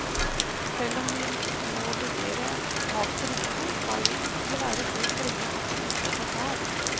Selv om vi må vurdere tapsrisiko skal vi ikke være så strenge at vi ikke får tap.